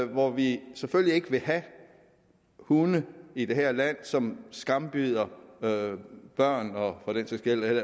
hvor vi selvfølgelig ikke vil have hunde i det her land som skambider børn